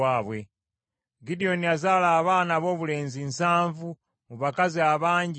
Gidyoni yazaala abaana aboobulenzi nsanvu mu bakazi abangi be yalina.